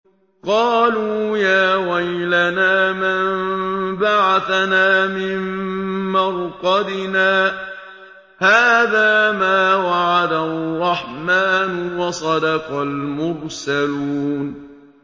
قَالُوا يَا وَيْلَنَا مَن بَعَثَنَا مِن مَّرْقَدِنَا ۜۗ هَٰذَا مَا وَعَدَ الرَّحْمَٰنُ وَصَدَقَ الْمُرْسَلُونَ